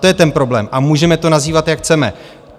To je ten problém a můžeme to nazývat, jak chceme.